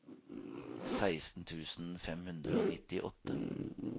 seksten tusen fem hundre og nittiåtte